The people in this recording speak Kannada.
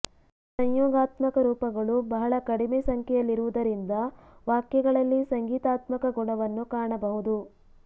ಸಂಯೋಗಾತ್ಮಕ ರೂಪಗಳು ಬಹಳ ಕಡಿಮೆ ಸಂಖ್ಯೆಯಲ್ಲಿರುವುದರಿಂದ ವಾಕ್ಯಗಳಲ್ಲಿ ಸಂಗೀತಾತ್ಮಕ ಗುಣವನ್ನು ಕಾಣಬಹುದು